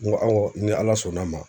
N ko awɔ ni Ala sɔnn'a ma